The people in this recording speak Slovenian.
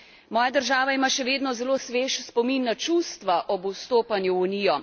Moja država ima še vedno zelo svež spomin na čustva ob vstopanju v Unijo.